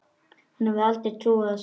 Hún hefði aldrei trúað þessu.